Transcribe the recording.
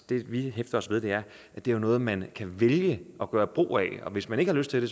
det vi hæfter os ved er at det er noget man kan vælge at gøre brug af hvis man ikke har lyst til det